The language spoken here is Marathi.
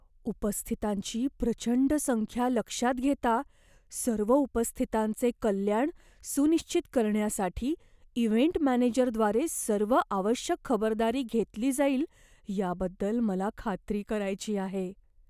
उपस्थितांची प्रचंड संख्या लक्षात घेता, सर्व उपस्थितांचे कल्याण सुनिश्चित करण्यासाठी इव्हेंट मॅनेजरद्वारे सर्व आवश्यक खबरदारी घेतली जाईल याबद्दल मला खात्री करायची आहे.